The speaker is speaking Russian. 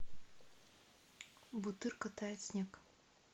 бутырка тает снег